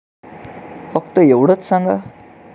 फक्त एवढेच सांगा.